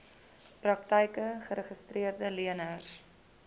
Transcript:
praktyke geregistreede leners